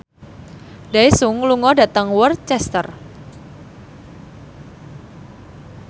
Daesung lunga dhateng Worcester